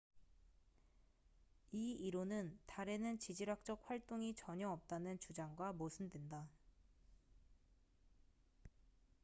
이 이론은 달에는 지질학적 활동이 전혀 없다는 주장과 모순된다